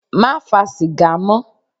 Má fa sìgá mọ́.